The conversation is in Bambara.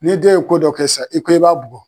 N'e den ye ko dɔ kɛ sisan i ko i b'a bugɔ